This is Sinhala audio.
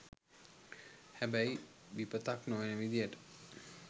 හැබැයි විපතක් නොවන විදියට